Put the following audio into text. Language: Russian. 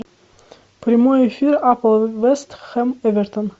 прямой эфир апл вест хэм эвертон